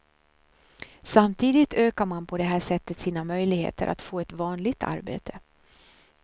Samtidigt ökar man på det här sättet sina möjligheter att få ett vanligt arbete.